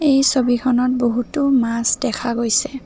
এই ছবিখনত বহুতো মাছ দেখা গৈছে।